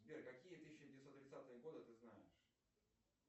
сбер какие тысяча девятьсот тридцатые годы ты знаешь